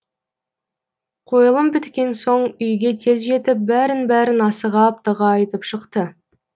қойылым біткен соң үйге тез жетіп бәрін бәрін асыға аптыға айтып шықты